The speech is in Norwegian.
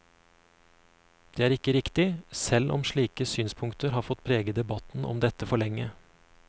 Det er ikke riktig, selv om slike synspunkter har fått prege debatten om dette for lenge.